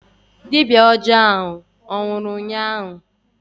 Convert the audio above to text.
Dibịa aja ahụ anwụrụ ụnyaahụ?